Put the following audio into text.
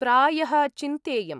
प्रायः चिन्तेयम्।